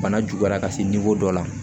Bana juguyara ka se dɔ la